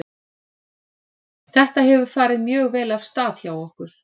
Þetta hefur farið mjög vel af stað hjá okkur.